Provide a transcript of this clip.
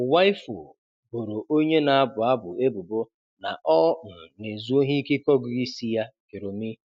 Uwaifo boro onye na-abụ abụ ebubo na ọ um 'na-ezu ohi' ikike ọgụgụ isi ya, 'Joromi'.